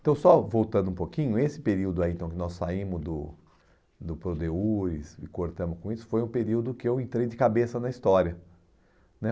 Então, só voltando um pouquinho, esse período aí, então, que nós saímos do do Prodeus e cortamos com isso, foi um período que eu entrei de cabeça na história, né?